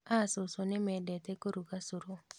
A cũcũ nĩmendete kũruga cũru